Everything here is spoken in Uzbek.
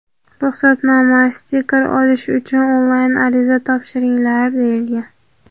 Ruxsatnoma (stiker) olish uchun onlayn ariza topshiringlar deyilgan.